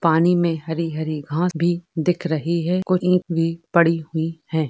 पानी में हरी हरी घास भी दिख रही है। को ईंट भी पड़ी हुई है।